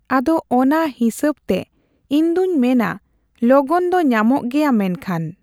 ᱟᱫᱚ ᱚᱱᱟ ᱦᱤᱥᱟᱹᱵ ᱛᱮ ᱤᱧᱫᱩᱧ ᱢᱮᱱᱟ ᱞᱚᱜᱚᱱ ᱫᱚ ᱧᱟᱢᱚᱜ ᱜᱮᱭᱟ ᱢᱮᱱᱠᱷᱟᱱ᱾